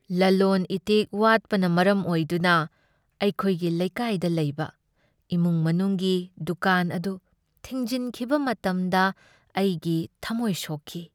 ꯂꯂꯣꯟ ꯏꯇꯤꯛ ꯋꯥꯠꯄꯅ ꯃꯔꯝ ꯑꯣꯏꯗꯨꯅ ꯑꯩꯈꯣꯏꯒꯤ ꯂꯩꯀꯥꯏꯗ ꯂꯩꯕ ꯏꯃꯨꯡ ꯃꯅꯨꯡꯒꯤ ꯗꯨꯀꯥꯟ ꯑꯗꯨ ꯊꯤꯡꯖꯤꯟꯈꯤꯕ ꯃꯇꯝꯗ ꯑꯩꯒꯤ ꯊꯝꯃꯣꯏ ꯁꯣꯛꯈꯤ꯫